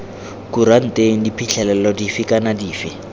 kuranteng diphitlhelelo dife kana dife